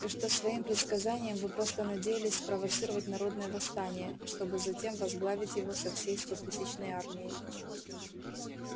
и что своим предсказанием вы просто надеялись спровоцировать народное восстание чтобы затем возглавить его со своей стотысячной армией